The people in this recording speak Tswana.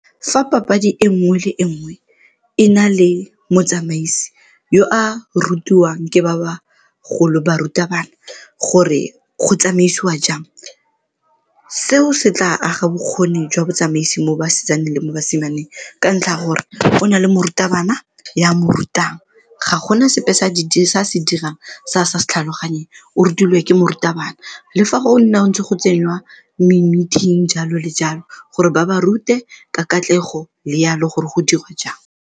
Fa papadi e nngwe le nngwe e na le motsamaisi yo a rutiwang ke ba bagolo barutabana gore go tsamaisiwa jang seo se tla aga bokgoni jwa botsamaisi mo basetsaneng le mo basimaneng ka ntlha ya gore go na le morutabana yo a mo rutang ga gona sepe se a se dirang se a sa se tlhaloganyeng, o rutilwe ke morutabana le fa go nna ntse go tseniwa me-meeting jalo le jalo gore ba ba rute ka katlego le jalo gore go dirwe jang.